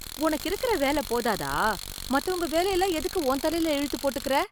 உனக்கு இருக்குற வேலை போதாதா, மத்தவங்க வேலையெல்லாம் எதுக்கு உன் தலையில இழுத்து போட்டுக்குற?